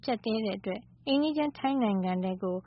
ချင်း ထိုင်းနိုင်ငံတွင်းကို